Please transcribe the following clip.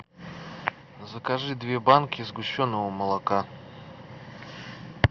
закажи две банки сгущенного молока